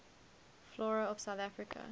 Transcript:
flora of south africa